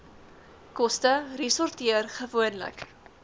koste resorteer gewoonlik